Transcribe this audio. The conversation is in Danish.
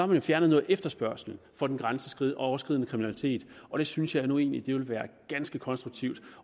man fjernet noget efterspørgsel på den grænseoverskridende kriminalitet og det synes jeg jo egentlig ville være ganske konstruktivt